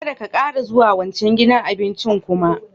Kadda ka taba zuwa wancan gidan abincin kuma!